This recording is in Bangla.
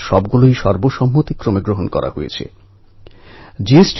এখন ও ওখানে এশিয়ান গেমসের জন্য প্রস্তুতি নিচ্ছে